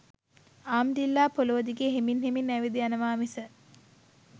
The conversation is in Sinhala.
ආමඩිල්ලා පොළොව දිගේ හෙමින් හෙමින් ඇවිද යනවා මිස